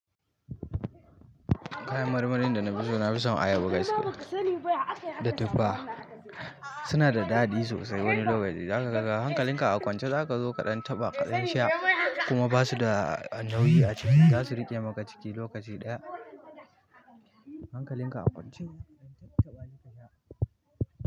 Kayan marmarin da na fi so na fi son ayaba gaskiya da tuffa. Suna da daɗi sosai wani lokaci. Zaka ga hankalin ka a kwance zaka zo kaɗan taɓa kaɗan sha kuma basu da nauyi a ciki. Zasu riƙe maka ciki lokaci ɗaya. Hankalin ka a kwance.